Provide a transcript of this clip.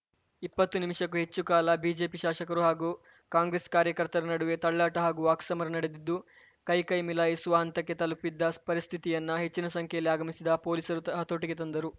ಇಪ್ಪತ್ತು ನಿಮಿಷಕ್ಕೂ ಹೆಚ್ಚು ಕಾಲ ಬಿಜೆಪಿ ಶಾಸಕರು ಹಾಗೂ ಕಾಂಗ್ರೆಸ್‌ ಕಾರ್ಯಕರ್ತರ ನಡುವೆ ತಳ್ಳಾಟ ಹಾಗೂ ವಾಕ್ಸಮರ ನಡೆದಿದ್ದು ಕೈಕೈ ಮಿಲಾಯಿಸುವ ಹಂತಕ್ಕೆ ತಲುಪಿದ್ದ ಪರಿಸ್ಥಿತಿಯನ್ನು ಹೆಚ್ಚಿನ ಸಂಖ್ಯೆಯಲ್ಲಿ ಆಗಮಿಸಿದ ಪೊಲೀಸರು ಹತೋಟಿಗೆ ತಂದರು